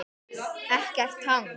Ekkert hangs!